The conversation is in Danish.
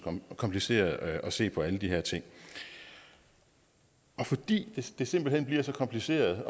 kompliceret at se på alle de her ting og fordi det simpelt hen bliver så kompliceret